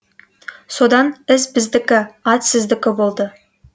содан із біздікі ат сіздікі болды